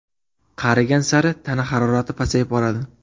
Qarigan sari tana harorati pasayib boradi.